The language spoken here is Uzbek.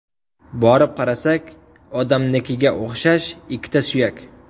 Borib qarasak, odamnikiga o‘xshash ikkita suyak.